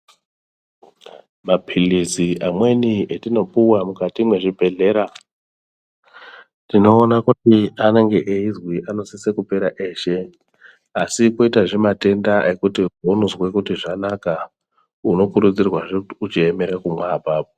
Mapilizi amweni atinopuwa mukati mwezvibhehlera tinoona kuti anenge eizwi anosisa kupera eshe asi kwoitazve matenda ekuti eunozwa kuti zvanaka unokurudzirwazve kuti uchiemera kumwa apapo.